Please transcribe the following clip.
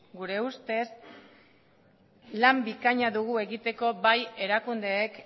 gure ustez lan bikaina dugu egiteko bai erakundeek